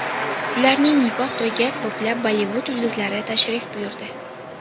Ularning nikoh to‘yiga ko‘plab Bollivud yulduzlari tashrif buyurdi.